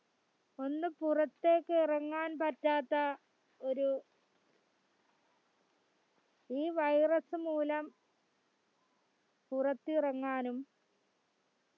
ഒന്ന്പുറത്തെക്ക് ഇറങ്ങാൻപറ്റാത്ത ഒരു ഈ virus മൂലം പുറത്തിറങ്ങാനും